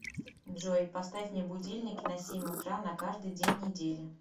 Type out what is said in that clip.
джой поставь мне будильник на семь утра на каждый день недели